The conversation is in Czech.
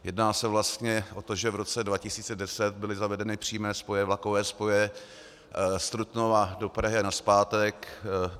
Jedná se vlastně o to, že v roce 2010 byly zavedeny přímé vlakové spoje z Trutnova do Prahy a nazpátek.